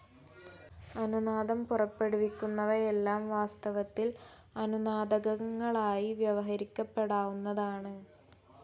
അനുനാദം പുറപ്പെടുവിക്കുന്നവയെല്ലാം വാസ്തവത്തിൽ അനുനാദകങ്ങളായി വ്യവഹരിക്കപ്പെടാവുന്നതാണ്.